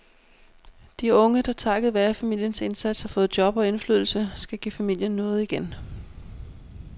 De unge, der takket være familiens indsats har fået job og indflydelse, skal give familien noget igen.